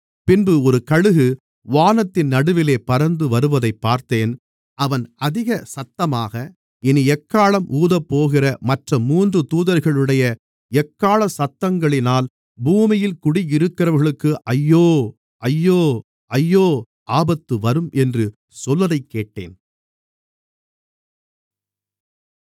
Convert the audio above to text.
பின்பு ஒரு கழுகு வானத்தின் நடுவிலே பறந்து வருவதைப் பார்த்தேன் அவன் அதிக சத்தமாக இனி எக்காளம் ஊதப்போகிற மற்ற மூன்று தூதர்களுடைய எக்காள சத்தங்களினால் பூமியில் குடியிருக்கிறவர்களுக்கு ஐயோ ஐயோ ஐயோ ஆபத்துவரும் என்று சொல்வதைக்கேட்டேன்